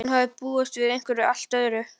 Hún hafði búist við einhverju allt öðru.